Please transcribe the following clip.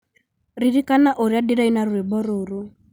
Ririkana ũrĩa ndĩraina rwĩmbo rũrũ